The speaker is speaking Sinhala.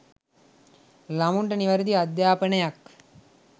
ළමුන්ට නිවැරදි අධ්‍යාපනයක්